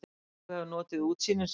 Þú hefur notið útsýnisins?